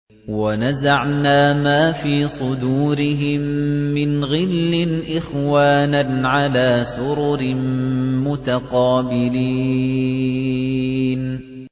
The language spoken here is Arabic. وَنَزَعْنَا مَا فِي صُدُورِهِم مِّنْ غِلٍّ إِخْوَانًا عَلَىٰ سُرُرٍ مُّتَقَابِلِينَ